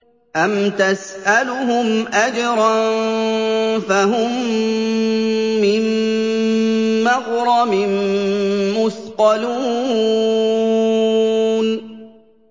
أَمْ تَسْأَلُهُمْ أَجْرًا فَهُم مِّن مَّغْرَمٍ مُّثْقَلُونَ